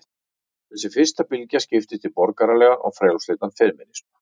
Þessi fyrsta bylgja skiptist í borgaralegan og frjálslyndan femínisma.